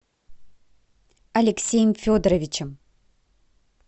алексеем федоровичем